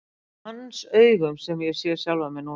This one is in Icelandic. Það er með hans augum sem ég sé sjálfa mig núna.